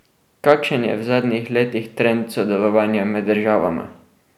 Kakšen je v zadnjih letih trend sodelovanja med državama?